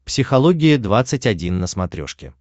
психология двадцать один на смотрешке